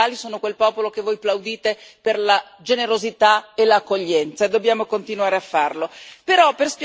No, gli italiani sono solidali, sono quel popolo che voi plaudite per la generosità e l'accoglienza, e dobbiamo continuare a farlo.